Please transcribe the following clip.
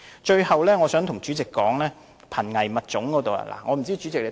最後，我想談談保護瀕危物種的工作。